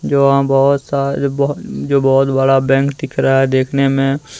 जो वहां बहोत सारे बहो जो बहोत बड़ा बैंक दिख रहा है देखने में --